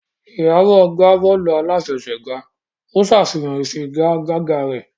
Iyabo gbá bọ́ọ̀lù aláfẹsẹ̀gbá, ó ń ṣàfihàn ìfigagbága rẹ̀.